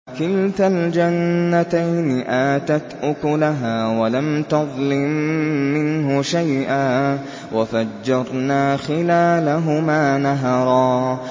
كِلْتَا الْجَنَّتَيْنِ آتَتْ أُكُلَهَا وَلَمْ تَظْلِم مِّنْهُ شَيْئًا ۚ وَفَجَّرْنَا خِلَالَهُمَا نَهَرًا